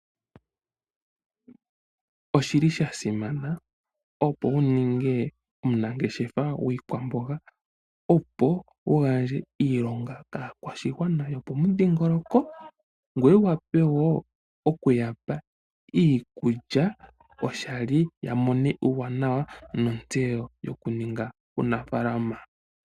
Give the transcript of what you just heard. Oshili sha simana, opo wu ninge omunangeshefa gwiikwamboga, opo wu gandje iilonga kaakwashigwana yopomudhingoloko ngoye wu wape woo okuya pa iikulya oshali ya mone uuwanawa nontseyo yokuninga uunafalama.